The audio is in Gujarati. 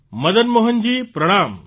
મદન મોહનજી પ્રણામ